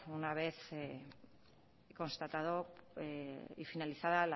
una vez constatado y finalizada